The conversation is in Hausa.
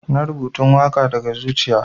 na rubatan waka daga zuciya.